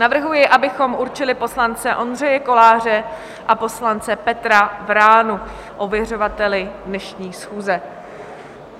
Navrhuji, abychom určili poslance Ondřeje Koláře a poslance Petra Vránu ověřovateli dnešní schůze.